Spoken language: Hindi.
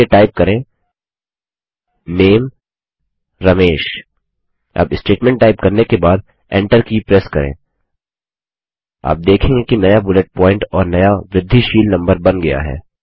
चलिए टाइप करें NAME रमेश अब स्टेटमेंट टाइप करने के बाद Enter की प्रेस करें आप देखेंगे कि नया बुलेट प्वॉइंट और नया वृद्धिशील नम्बर बन गया है